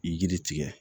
Yiri tigɛ